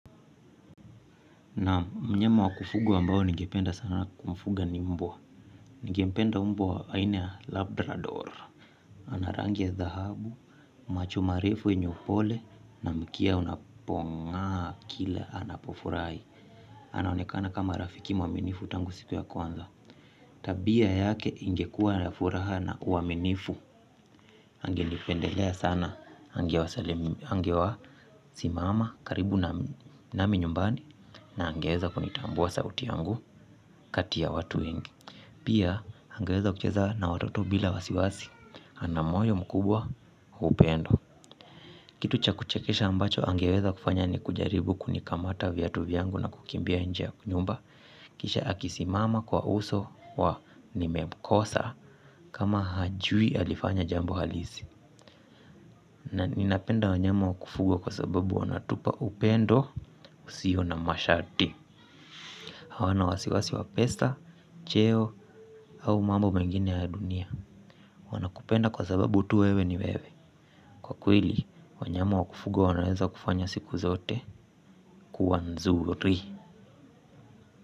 Naam mnyama wa kufuga ambao nigependa sana kumfuga ni mbwa. Nigependa umbwa ainia labdra dora. Ana rangi ya dhahabu, macho marefu yenye upole na mkia unapongaa kila anapofurai. Anaonekana kama rafiki mwaminifu tangu siku ya kwanza. Tabia yake ingekua ya furaha na uaminifu. Angenipendelea sana. Angewa salimu. Angewa simama karibu nami nyumbani na angeeza kunitambua sauti yangu. Kati ya watu wengi. Pia angeweza kucheza na watoto bila wasiwasi. Ana moyo mkubwa upendo. Kitu cha kuchekesha ambacho angeweza kufanya ni kujaribu kunikamata viatu vyangu na kukimbia nje ya nyumba. Kisha akisimama kwa uso wa nimekosa kama hajui alifanya jambo halisi. Na ninapenda wanyama wa kufugwa kwa sababu wanatupa upendo usio na masharti. Hawana wasiwasi wa pesa, cheo au mambo mengine ya dunia. Wanakupenda kwa sababu tu wewe ni wewe. Kwa kweli, wanyama wa kufugwa wanaweza kufanya siku zote kuwa nzuri.